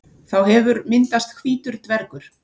Þá hefur myndast hvítur dvergur.